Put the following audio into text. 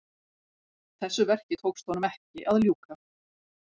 Þessu verki tókst honum ekki að ljúka.